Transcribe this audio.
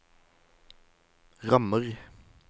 rammer